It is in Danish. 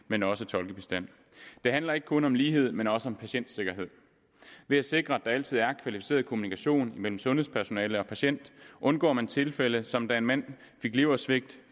men også tolkebistand det handler ikke kun om lighed men også om patientsikkerhed ved at sikre at der altid er kvalificeret kommunikation mellem sundhedspersonale og patient undgår man tilfælde som da en mand fik leversvigt